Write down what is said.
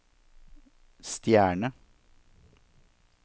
stjerne